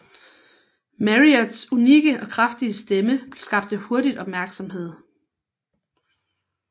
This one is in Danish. Marriotts unikke og kraftige stemme skabte hurtigt opmærksomhed